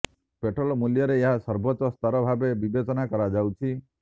petrol ମୂଲ୍ୟରେ ଏହା ସର୍ବୋଚ୍ଚ ସ୍ତର ଭାବେ ବିବେଚନା କରାଯାଉଛି